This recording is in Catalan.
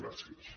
gràcies